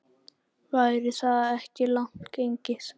Væri það ekki langt gengið?